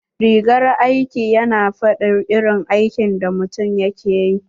Rigar aiki yana fadin irin aikin da mutum yake ƴi.